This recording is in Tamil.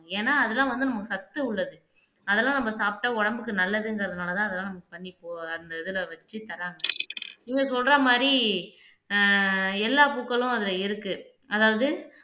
ஏன்னா அதெல்லாம் வந்து நமக்கு சத்து உள்ளது அதெல்லாம் நம்ம சாப்பிட்டா உடம்புக்கு நல்லதுங்கறதுனாலதான் அதெல்லாம் நம்ம பண்ணி அந்த இதுல வச்சு தர்றாங்க இவங்க சொல்ற மாதிரி ஆஹ் எல்லா பூக்களும் அதுல இருக்கு அதாவது